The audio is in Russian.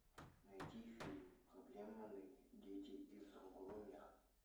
найти фильм проблемные дети из другого мира